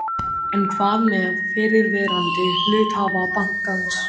En hvað með fyrrverandi hluthafa bankans?